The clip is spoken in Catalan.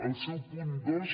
el seu punt dos